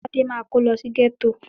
Tádé máa kó lọ sí gẹ́tò